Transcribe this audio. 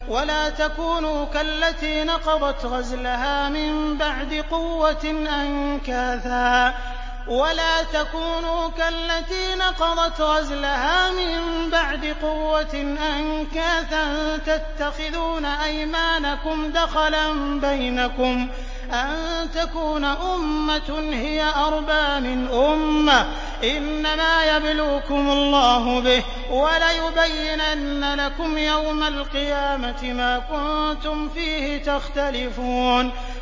وَلَا تَكُونُوا كَالَّتِي نَقَضَتْ غَزْلَهَا مِن بَعْدِ قُوَّةٍ أَنكَاثًا تَتَّخِذُونَ أَيْمَانَكُمْ دَخَلًا بَيْنَكُمْ أَن تَكُونَ أُمَّةٌ هِيَ أَرْبَىٰ مِنْ أُمَّةٍ ۚ إِنَّمَا يَبْلُوكُمُ اللَّهُ بِهِ ۚ وَلَيُبَيِّنَنَّ لَكُمْ يَوْمَ الْقِيَامَةِ مَا كُنتُمْ فِيهِ تَخْتَلِفُونَ